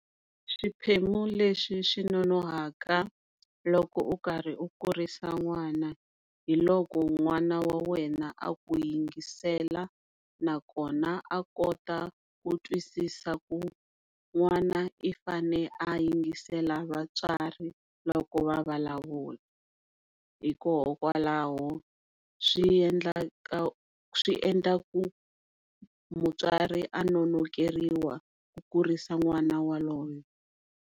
Swiphemu leswi swi nonoha loko u karhi u kurisa n'wana hi loko n'wana wa wena aku yingisela na kona a kota ku twisisa ku n'wana i fane a yingisela vatswari loko vulavula hikoho kwalaho swi endlaku mutswari a nonokeriwa ku kurisa n'wana waloye.